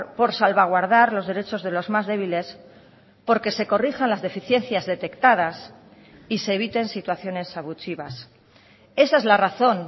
por salvaguardar los derechos de los más débiles porque se corrijan las deficiencias detectadas y se eviten situaciones abusivas esa es la razón